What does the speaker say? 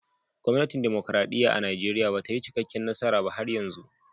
Gwamnatin dimokuradiyya a'Nijeriya bata yi cikaken nasara ba har yanzu.